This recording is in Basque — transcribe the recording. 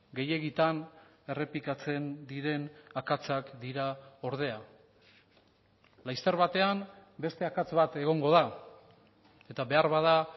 gehiegitan errepikatzen diren akatsak dira ordea laster batean beste akats bat egongo da eta beharbada